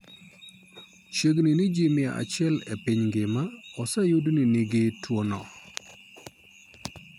Chiegni ni ji mia achiel e piny mangima, oseyud ni nigi tuwono.